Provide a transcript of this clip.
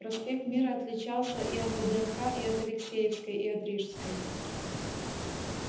проспект мира отличался и от вднх и от алексеевской и от рижской